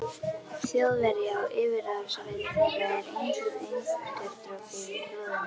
Þjóðverji á yfirráðasvæði þeirra er einsog eiturdropi í blóðinu.